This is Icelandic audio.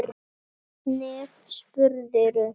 Hvernig spyrðu!